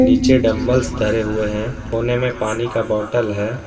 नीचे डंबलस धरे हुए हैं कोने में पानी का बाटल है।